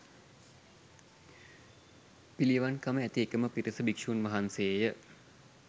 පිළිවන්කම ඇති එකම පිරිස භික්ෂූන් වහන්සේය